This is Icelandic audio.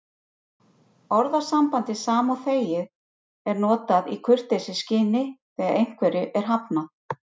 Orðasambandið sama og þegið er notað í kurteisisskyni þegar einhverju er hafnað.